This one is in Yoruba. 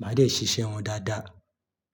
màá dẹ̀ ṣiṣẹ́ wọn dáadáa.